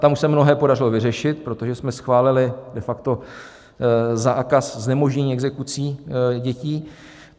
Tam už se mnohé podařilo vyřešit, protože jsme schválili de facto zákaz znemožnění exekucí dětí.